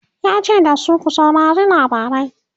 yace da su "ku saurari labarai!